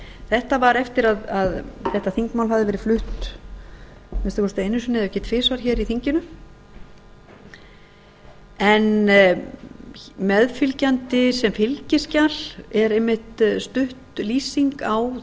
þetta var eftir að þetta þingmál hafði verið flutt að minnsta kosti einu sinni ef ekki tvisvar hér í þinginu meðfylgjandi sem fylgiskjal er einmitt stutt lýsing á